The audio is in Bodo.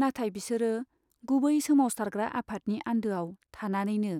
नाथाय बिसोरो गुबै सोमावसारग्रा आफादनि आन्दोआव थानानैनो